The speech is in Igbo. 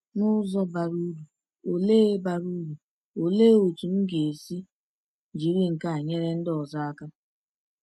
N’ụzọ bara uru, olee bara uru, olee otú m ga-esi jiri nke a nyere ndị ọzọ aka?